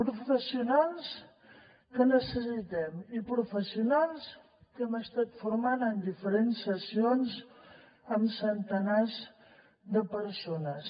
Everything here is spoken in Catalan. professionals que necessitem i professionals que hem estat formant en diferents sessions amb centenars de persones